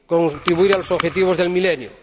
contribuir a los Objetivos del Milenio.